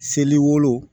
Seli wolon